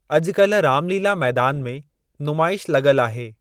अज॒कल्ह Ramlila Maidan में नुमाइश लग॒ल आहे।